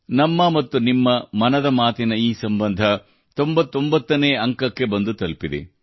ನಮ್ಮ ಮತ್ತು ನಿಮ್ಮ ಮನದ ಮಾತಿನ ಈ ಸಂಬಂಧ 99 ನೇ ಕಂತಿಗೆ ಬಂದು ತಲುಪಿದೆ